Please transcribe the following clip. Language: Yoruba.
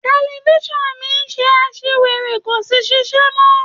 Tẹlifisiọnu mi se àṣìwèrè kò sì ṣíṣe mọ